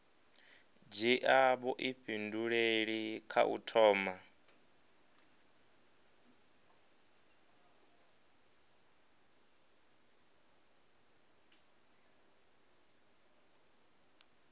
dzhia vhuifhinduleli kha u thoma